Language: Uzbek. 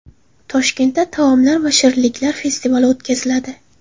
Toshkentda taomlar va shirinliklar festivali o‘tkaziladi .